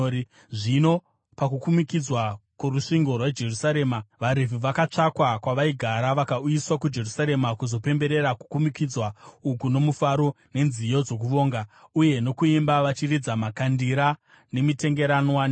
Zvino pakukumikidzwa kworusvingo rweJerusarema, vaRevhi vakatsvakwa kwavaigara vakauyiswa kuJerusarema kuzopemberera kukumikidzwa uku nomufaro, nenziyo dzokuvonga, uye nokuimba, vachiridza makandira, mitengeranwa nembira.